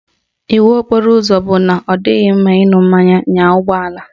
Iwu okporo ụzọ bụ na ọ dịghị mma ịṅụ mmanya nya ụgbọala